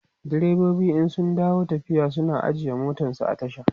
direbobi in sun dawo tafiya suna ajiye motansu a tasha